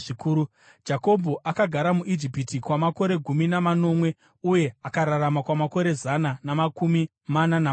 Jakobho akagara muIjipiti kwamakore gumi namanomwe, uye akararama kwamakore zana namakumi mana namanomwe.